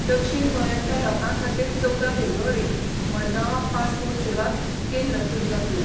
दक्षीण गोंयांतल्या लोकां खातीर चौदा फेब्रुवारीक मडगांवां पासपोर्ट सेवा केंद्र सुरू जातलें.